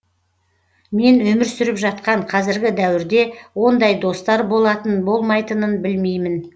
мен өмір сүріп жатқан қазіргі дәуірде ондай достар болатын болмайтынын білмеймін